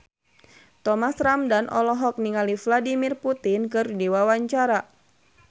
Thomas Ramdhan olohok ningali Vladimir Putin keur diwawancara